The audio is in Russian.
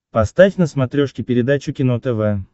поставь на смотрешке передачу кино тв